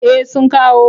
Eh sun kawo.